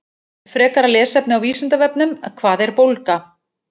Frekara lesefni á Vísindavefnum: Hvað er bólga?